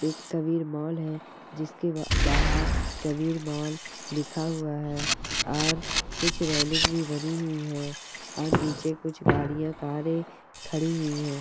एक कबीर मॉल है जिसके बा बाहर कबीर मॉल लिखा हुआ है और कुछ रेलिंग भी बनी हुई हैं और नीचे कुछ गाड़ियाँ कारें खड़ी हुई हैं।